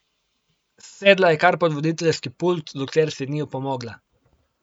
Sedla je kar pod voditeljski pult, dokler si ni opomogla.